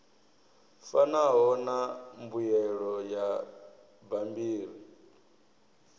fanaho na mbuyelo ya bammbiri